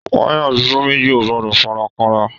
Wayà bibo méjì o gbọdọ farakanra.